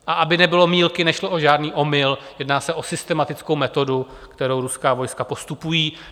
A aby nebylo mýlky, nešlo o žádný omyl, jedná se o systematickou metodu, kterou ruská vojska postupují.